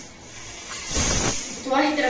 Þú ættir að prófa sjálfur, sagði